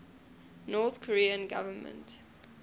north korean government